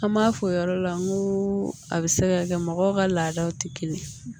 An m'a fɔ o yɔrɔ la n ko a bɛ se ka kɛ mɔgɔw ka laadaw tɛ kelen ye